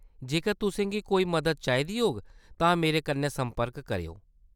जेकर तुसें गी कोई मदद चाहिदी होग तां मेरे कन्नै संपर्क करेओ।